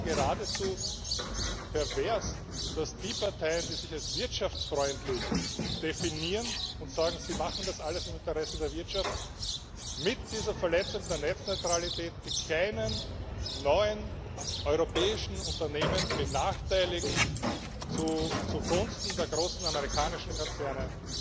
Es ist ja geradezu pervers, dass die Parteien, die sich als wirtschaftsfreundlich definieren und sagen, sie machen das alles im Interesse der Wirtschaft, mit dieser Verletzung der Netzneutralität die kleinen, neuen europäischen Unternehmen benachteiligen zugunsten der großen amerikanischen Konzerne,